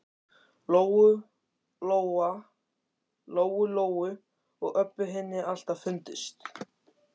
Lóu Lóu og Öbbu hinni alltaf fundist.